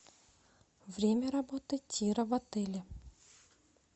время работы тира в отеле